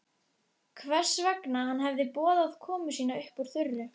Hvers vegna hann hefði boðað komu sína upp úr þurru.